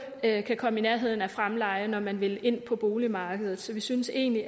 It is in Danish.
kan komme i nærheden af fremleje når man vil ind på boligmarkedet så vi synes egentlig